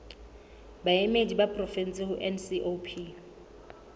baemedi ba porofensi ho ncop